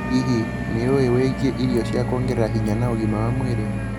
Hihi, nĩ ũĩ wĩgie irio cia kuongerera hinya na ũgima wa mwĩrĩ?